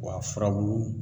Wa a furabulu